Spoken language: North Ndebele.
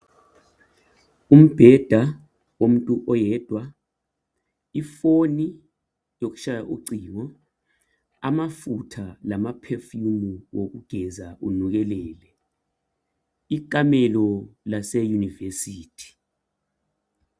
Umbheda womuntu oyedwa, ifoni yokutshaya ucingo, amafutha lalaphefumu wokugeza unukelele ikamelo laseyuvesithi.